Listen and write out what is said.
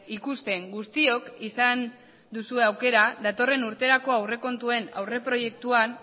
ikusten guztiok izan duzue aukera datorren urterako aurrekontuen aurreproiektuak